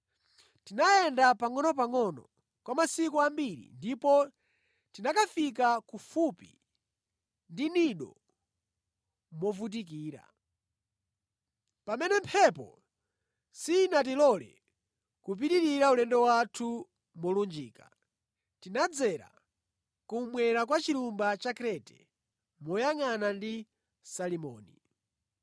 Tinayenda pangʼonopangʼono kwa masiku ambiri ndipo tinakafika kufupi ndi Knido movutikira. Pamene mphepo sinatilole kupitirira ulendo wathu molunjika, tinadzera kummwera kwa chilumba cha Krete, moyangʼanana ndi Salimoni.